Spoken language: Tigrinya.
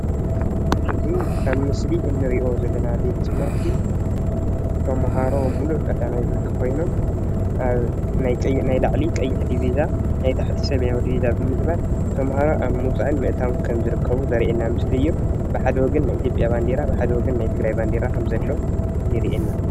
እዚ ኣብ ምስሊ እንሪኦ ዘለና ቤት ትምህርቲ ተምሃሮ ሙሉእ ቀዳማይ ብርኪ ኾይኖም ናይ ላዕሊ ቀይሕ ዲቢዛ ናይቲ ታሕቲ ሰማያዊ ዲቢዛ ብምግባር እናኣተውን እናወፁን ከም ዝርከቡ ዘርእየና ምስሊ እዩ።